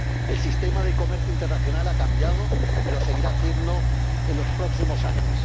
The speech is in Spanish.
el sistema de comercio internacional ha cambiado y lo seguirá haciendo en los próximos años.